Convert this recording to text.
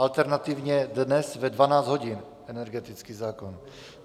Alternativně dnes ve 12 hodin, energetický zákon.